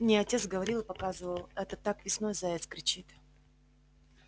мне отец говорил и показывал это так весной заяц кричит